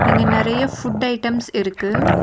இங்க நெறைய food items இருக்கு.